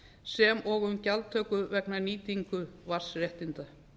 sem og um gjaldtöku vegna nýtingar landsréttinda